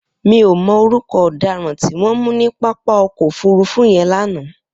Mi ó mọ órùkọ ọdàrãn tiwọn mù ni pápá ọkọ ófùrùfù yèn lànã